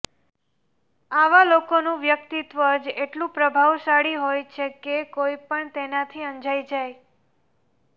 આવા લોકોનું વ્યક્તિત્વ જ એટલું પ્રભાવશાળી હોય છે કે કોઇ પણ તેનાથી અંજાય જાય